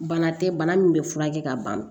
Bana tɛ bana min bɛ furakɛ ka ban